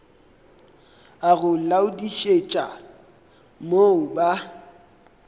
a go laodišetša mo ba